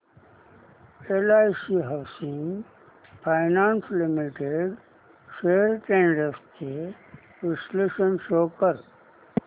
LIC housing finance limited shares trends चे विश्लेषण show कर